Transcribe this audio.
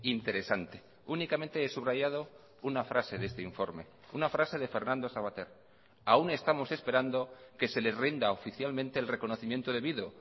interesante únicamente he subrayado una frase de este informe una frase de fernando savater aún estamos esperando que se les rinda oficialmente el reconocimiento debido